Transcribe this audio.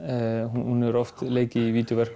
hún hefur oft leikið í